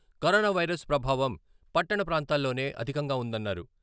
Corona virus ప్రభావం పట్టణ ప్రాంతాల్లోనే అధికంగా ఉందన్నారు.